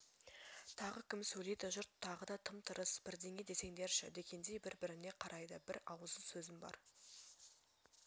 тағы кім сөйлейді жұрт тағы да тым-тырыс бірдеңе десеңдерші дегендей бір-біріне қарайды бір ауыз сөзім бар